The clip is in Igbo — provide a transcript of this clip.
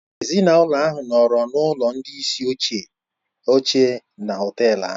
Ezinụlọ ahụ nọọrọ n'ụlọ ndị isi oche na họtel ahụ.